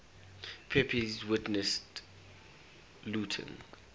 pepys witnessed looting